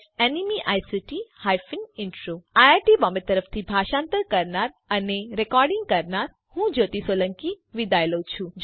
iit Bombay તરફથી spoken tutorial project માટે ભાષાંતર કરનાર હું જ્યોતી સોલંકી વિદાય લઉં છું